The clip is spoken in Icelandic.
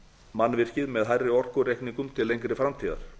mannvirkið með hærri orkureikningum til lengri framtíðar